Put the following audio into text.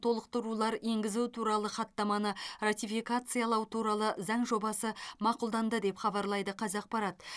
толықтырулар енгізу туралы хаттаманы ратификациялау туралы заң жобасы мақұлданды деп хабарлайды қазақпарат